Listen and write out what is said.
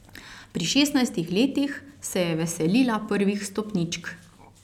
Pri šestnajstih letih se je veselila prvih stopničk.